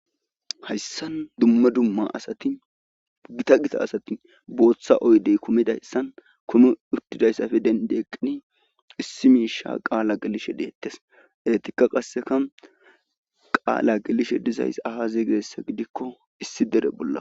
Hayssan dumme dumma asatigita gita asatin booththa oydey kumidayssan komi uttidayssafe dendi eqqini issi miisha qaala gelishe deettes eetikka qasseka qaala gelishe dizays aha zeygessa gidikko issi dere bolla.